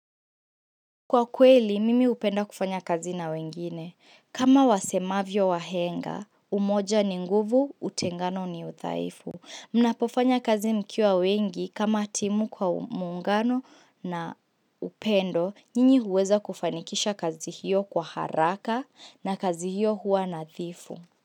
Kwa kweli, mimi upenda kufanya kazi na wengine. Kama wasemavyo wahenga, umoja ni nguvu utengano ni uthaifu. Mnapofanya kazi mkiwa wengi kama timu kwa mungano na upendo, nyinyi uweza kufanikisha kazi hiyo kwa haraka na kazi hiyo hua nathifu.